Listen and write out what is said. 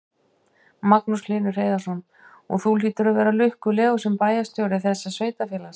Magnús Hlynur Hreiðarsson: Og þú hlýtur að vera lukkulegur sem bæjarstjóri þessa sveitarfélags?